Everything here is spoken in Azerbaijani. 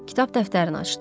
Kitab dəftərini açdı.